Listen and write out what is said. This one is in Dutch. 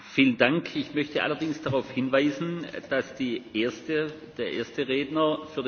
Mevrouw Sargentini heeft de amendementen namens de heer Rohde en mijzelf voor de Liberale Fractie kunnen lezen.